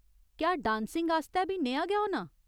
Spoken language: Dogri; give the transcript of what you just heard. क्या डांसिंग आस्तै बी नेहा गै होना ?